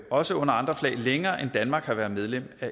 også under andre flag længere end danmark har været medlem af